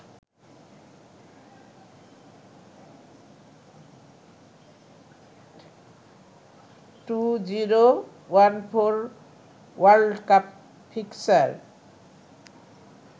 2014 world cup fixture